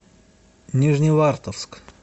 нижневартовск